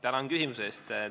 Tänan küsimuse eest!